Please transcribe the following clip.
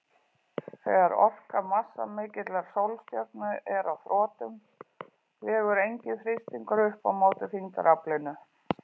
Þegar orka massamikillar sólstjörnu er á þrotum vegur enginn þrýstingur upp á móti þyngdaraflinu.